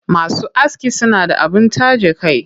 Masu aski suna da abin taje kai.